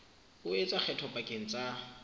o etsa kgetho pakeng tsa